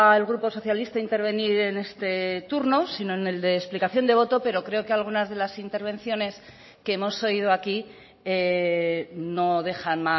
el grupo socialista intervenir en este turno sino en el de explicación de voto pero creo que algunas de las intervenciones que hemos oído aquí no dejan